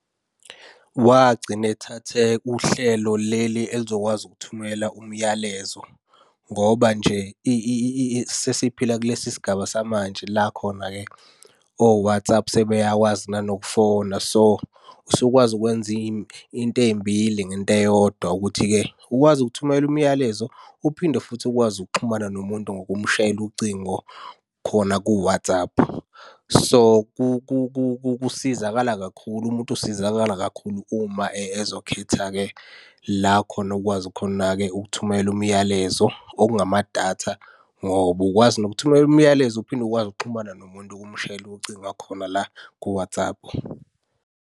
Wagcina ethathe uhlelo leli elizokwazi ukuthumela umyalezo ngoba nje sesiphila kulesi sigaba samanje la khona-ke o-WhatsApp sebeyakwazi nanokufona. So, usukwazi ukwenza iy'nto ey'mbili ngento eyodwa ukuthi-ke ukwazi ukuthumela imiyalezo. Uphinde futhi ukwazi ukuxhumana nomuntu ngokumshayela ucingo khona ku-WhatsApp. So, kusizakala kakhulu, umuntu usizakala kakhulu uma ezokhetha-ke la khona okwazi khona-ke ukuthumela umlayalezo, okungama datha, ngoba ukwazi nokuthumela umlayezo uphinde ukwazi ukuxhumana nomuntu ukumshayela ucinga khona la ku-WhatsApp.